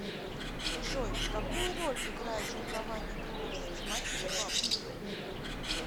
джой какую роль играет жилкование крыльев в систематике бабочек